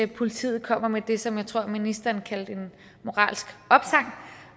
politiet kommer med det som jeg tror ministeren kaldte en moralsk opsang